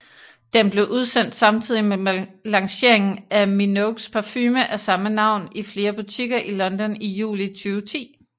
Den blev udsendt samtidig med lanceringen af Minogues parfume af samme navn i flere butikker i London i juli 2010